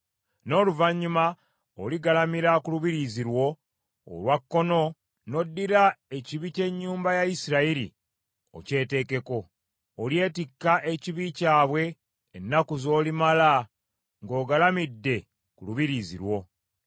“N’oluvannyuma oligalamira ku lubiriizi lwo olwa kkono n’oddira ekibi ky’ennyumba ya Isirayiri okyeteekeko. Olyetikka ekibi kyabwe ennaku z’olimala ng’ogalamidde ku lubiriizi lwo.